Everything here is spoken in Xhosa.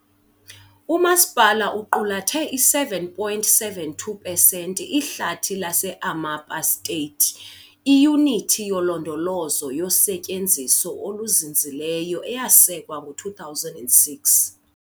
Umasipala uqulathe i-7.72 pesenti Ihlathi lase-Amapá State, iyunithi yolondolozo yosetyenziso oluzinzileyo eyasekwa ngo-2006.